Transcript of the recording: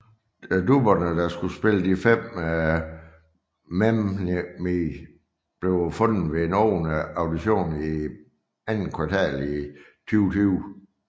Dubberne der skulle spille de fem Mem Mew blev fundet ved en åben audition i andet kvartal 2020